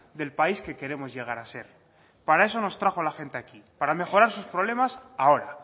del país que queremos llegar a ser para eso nos trajo a la gente aquí para mejorar sus problemas ahora